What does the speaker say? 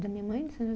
Da minha mãe de